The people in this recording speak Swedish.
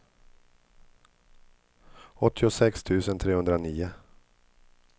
åttiosex tusen trehundranio